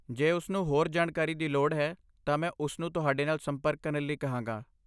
ਜੇ ਉਸਨੂੰ ਹੋਰ ਜਾਣਕਾਰੀ ਦੀ ਲੋੜ ਹੈ ਤਾਂ ਮੈਂ ਉਸਨੂੰ ਤੁਹਾਡੇ ਨਾਲ ਸੰਪਰਕ ਕਰਨ ਲਈ ਕਹਾਂਗਾ।